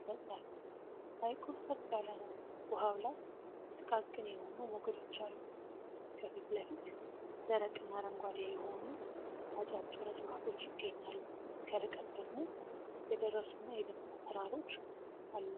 ይፈጥራል። ሐይቁ ጸጥ ያለ ነው፣ ውኃው ላይ ጥቃቅን የሆኑ ሞገዶች አሉ። ከፊት ለፊት፣ ደረቅና አረንጓዴ የሆኑ አጫጭር እፅዋቶች ይገኛሉ፣ ከርቀት ደግሞ የደረሱና የደመቁ ተራራዎች አሉ።